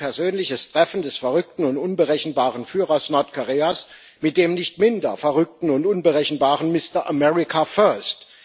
Ein persönliches Treffen des verrückten und unberechenbaren Führers Nordkoreas mit dem nicht minder verrückten und unberechenbaren Mister America First.